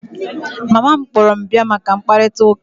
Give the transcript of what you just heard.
Mama m kpọrọ m bia maka mkparịta ụka